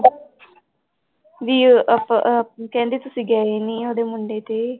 ਵੀ ਆਪਾਂ ਅਹ ਕਹਿੰਦੀ ਤੁਸੀਂ ਗਏ ਨੀ ਉਹਦੇ ਮੁੰਡੇ ਤੇ।